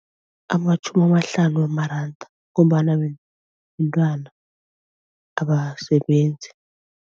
Amatjhumi amahlanu wamaranda ngombana mntwana abasebenzi.